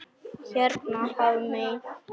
Hérna Hafmey.